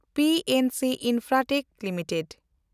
PNC Infratech limited